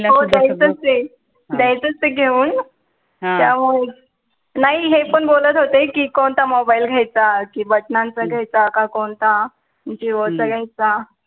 हो द्यायचं च ए, द्यायचं च ए घेऊन त्यामुळे, नाही हे पण बोलत होते कि कोणता mobile घ्यायचा कि बटणांचा घ्यायचा कि कोणता JIO चा घ्यायचा